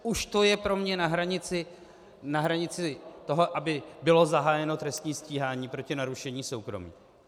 Už to je pro mě na hranici toho, aby bylo zahájeno trestní stíhání proti narušení soukromí.